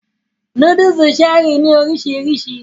Núdúùsù Cherie ní oríṣiríṣi